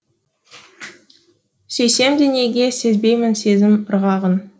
сүйсемде неге сезбеймін сезім ырғағын